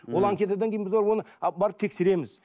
ол анкетадан кейін біз барып оны а барып тексереміз